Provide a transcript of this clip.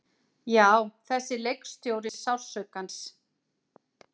Já, þessi leikstjóri sársaukans.